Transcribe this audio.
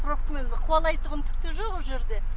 пробкамен қуалайтұғын түкте жоқ о жерде